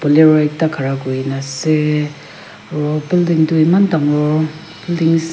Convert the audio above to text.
bolero ekta khara kuri na ase aro building tu eman dangor building --